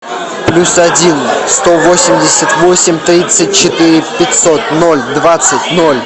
плюс один сто восемьдесят восемь тридцать четыре пятьсот ноль двадцать ноль